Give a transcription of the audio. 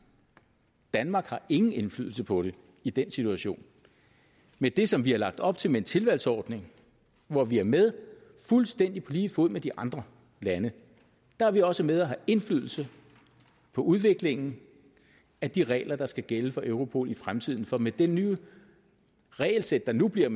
danmark har ingen indflydelse på det i den situation med det som vi har lagt op til med en tilvalgsordning hvor vi er med fuldstændig på lige fod med de andre lande er vi også med til at have indflydelse på udviklingen af de regler der skal gælde for europol i fremtiden for med det nye regelsæt der nu bliver